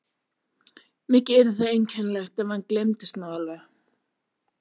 Mikið yrði það einkennilegt, ef hann gleymdist nú alveg.